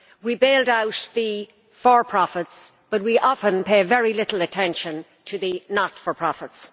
We bailed out the for profits but we often pay very little attention to the not for profits.